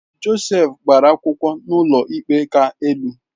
Josef gbara akwụkwọ n’ụlọikpe ka elu